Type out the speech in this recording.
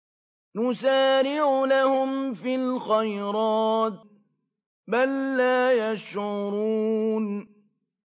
نُسَارِعُ لَهُمْ فِي الْخَيْرَاتِ ۚ بَل لَّا يَشْعُرُونَ